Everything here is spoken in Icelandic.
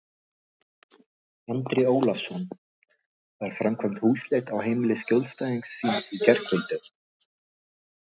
Andri Ólafsson: Var framkvæmd húsleit á heimili skjólstæðings þíns í gærkvöldi?